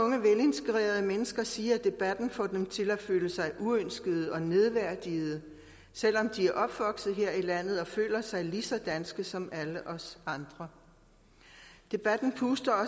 og mennesker sige at debatten får dem til at føle sig uønskede og nedværdigede selv om de er opvokset her i landet og føler sig lige så danske som alle os andre debatten puster